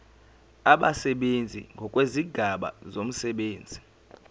abasebenzi ngokwezigaba zomsebenzi